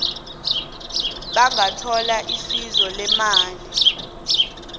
bangathola isizo leemali